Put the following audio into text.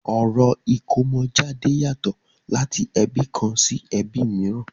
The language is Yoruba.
Orò ìkómojáde yàtọ̀ láti ẹbí kan sí ẹbi mìíràn.